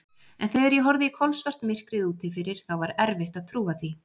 En þegar ég horfði í kolsvart myrkrið úti fyrir, þá var erfitt að trúa því.